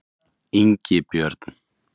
Ingibjörn